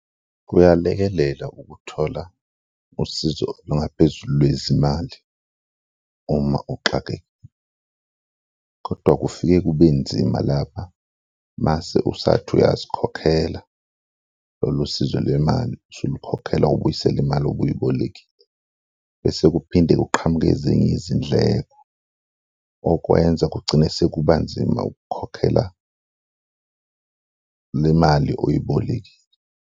Kuyalekelela ukuthola usizo olungaphezulu lwezimali uma uxake kodwa kufike kube nzima lapha mase usathi uyazikhokhela, lolo sizo lwemali usulikhokhela ubuyisela imali obuyibolekile bese kuphinde kuqhamuke ezinye izindleko okwenza kugcine sekuba nzima ukukhokhela le mali oyibolekile.